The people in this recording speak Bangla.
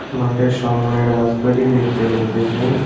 মাঠের সামোনে রাজবাড়ি দেখতে পাইতেসি।